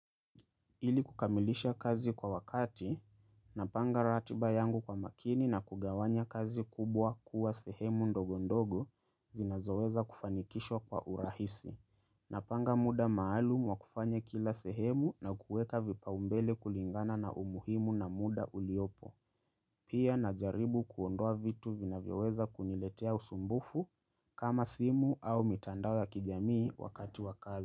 Ili kukamilisha kazi kwa wakati, napanga ratiba yangu kwa makini na kugawanya kazi kubwa kuwa sehemu ndogo ndogo zinazoweza kufanikishwa kwa urahisi. Napanga muda maalumu wa kufanya kila sehemu na kuweka vipaumbele kulingana na umuhimu na muda uliopo. Pia najaribu kuondoa vitu vinavyoweza kuniletea usumbufu kama simu au mitandao ya kijamii wakati wa kazi.